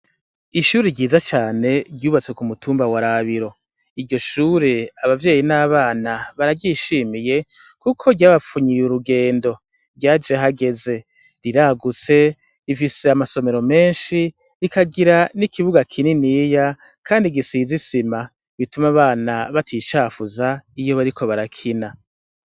Ishuri ryiza cane ryubatse ku mutumba wa Rabiro, iryo shure abavyeyi n'abana bararyishimiye, kuko ryabapfunyiye urugendo ryaje hageze riragutse rifise amasomero menshi rikagira n'ikibuga kininiya, kandi gisize isima bituma abana baticafuza iyo bariko barakina.